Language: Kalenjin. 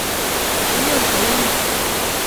Ninyon kou ni?